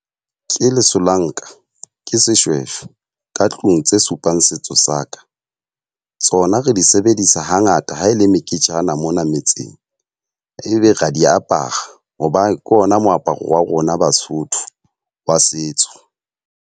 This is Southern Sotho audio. Ke lesolanka, ke seshweshwe ka tlung tse supang setso saka. Tsona re di sebedisa ha ngata ha e le meketjana mona metseng, ebe ra di apara. Hobane ke ona moaparo wa rona Basotho wa setso.